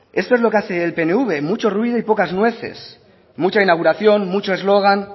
esto es lo que hace el pnv mucho ruido y pocas nueces mucha inauguración mucho eslogan